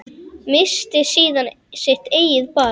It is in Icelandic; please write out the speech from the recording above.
Missti síðan sitt eigið barn.